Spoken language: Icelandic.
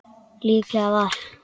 Líklega var